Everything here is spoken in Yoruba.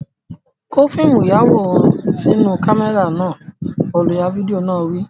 Kó fíìmù ìyàwòrán sínú kámẹ́rà náà! Olùya fídíò náà wí.